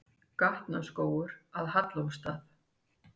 Gatnaskógur að Hallormsstað.